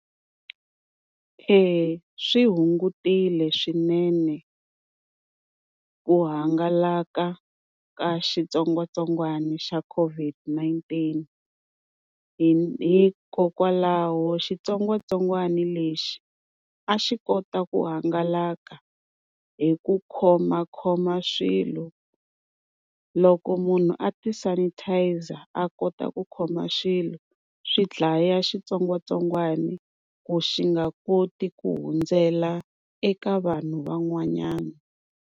Eya swi hungutile swinene ku hangalaka ka xitsongwatsongwana xa COVID-19. Hi hikokwalaho xitsongwatsongwana lexi a xi kota ku hangalaka hi ku khomakhoma swilo loko munhu a ti sanitiser a kota ku khoma swilo swi dlaya xitsongwatsongwana ku xi nga koti ku hundzela eka vanhu van'wanyana.